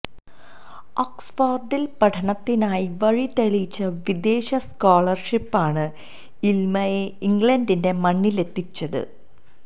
ഓക്സ്ഫോര്ഡില് പഠനത്തിനായി വഴി തെളിയിച്ച വിദേശ സ്കോളര്ഷിപ്പാണ് ഇല്മയെ ഇംഗ്ലണ്ടിന്റെ മണ്ണിലെത്തിച്ചത്